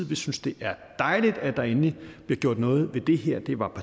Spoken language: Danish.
vi synes det er dejligt at der endelig bliver gjort noget ved det her det var